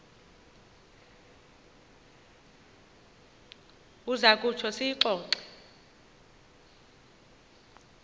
uza kutsho siyixoxe